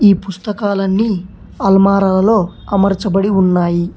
ఈ పుస్తకాలు అన్ని అల్మారాలలో అమర్చబడి ఉన్నాయి.